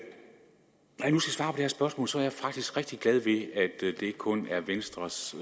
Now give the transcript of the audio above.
her spørgsmål er jeg faktisk rigtig glad ved at det ikke kun er venstres